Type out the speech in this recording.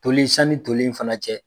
Toli sani toli in fana cɛ